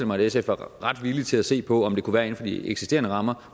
mig at sf var villig til at se på om det kunne være inden for de eksisterende rammer